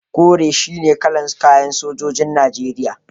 Kore shine kalar kayan sojojin Najeriya.